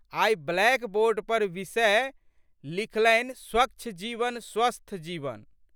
आइ blackboard पर विषय लिखलनिस्वच्छ जीवन स्वस्थ जीवन।